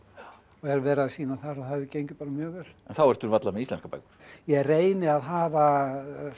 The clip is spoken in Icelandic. hef verið að sýna þar og það hefur gengið mjög vel en þá ertu varla með íslenskar bækur ég reyni að hafa